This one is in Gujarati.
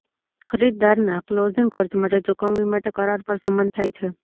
ખરીદદારના ક્લોઝિંગ ખર્ચ માટે ચુકવણી માટે કરાર પર સંમત થાય છે